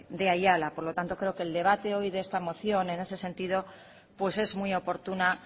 de ayala por lo tanto creo que el debate hoy de esta moción en ese sentido pues es muy oportuna